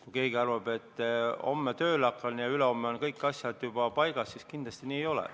Kui keegi arvab, et homme hakkan tööle ja ülehomme on kõik asjad juba paigas, siis kindlasti nii ei ole.